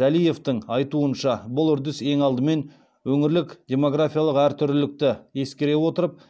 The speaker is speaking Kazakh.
жәлиевтің айтуынша бұл үрдіс ең алдымен өңірлік демографиялық әртүрлілікті ескере отырып